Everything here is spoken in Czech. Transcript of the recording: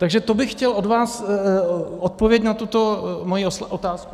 Takže to bych chtěl od vás odpověď na tuto moji otázku.